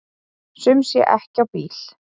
Sum sé ekki á bíl.